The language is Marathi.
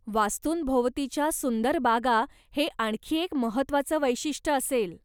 वास्तूंभोवतीच्या सुंदर बागा हे आणखी एक महत्वाचं वैशिष्ट असेल.